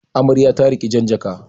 Amarya ta riƙi jan jaka.